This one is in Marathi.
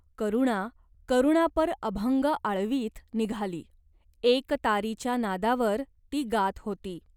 करुणा करुणापर अभंग आळवीत निघाली. एकतारीच्या नादावर ती गात होती.